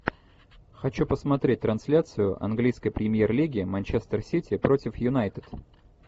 хочу посмотреть трансляцию английской премьер лиги манчестер сити против юнайтед